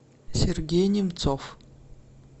сергей немцов